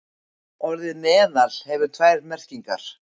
Orðið meðal hefur tvær merkingar.